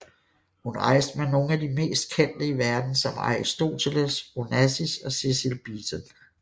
Hun rejste med nogle af de meste kendte i verden som Aristoteles Onassis og Cecil Beaton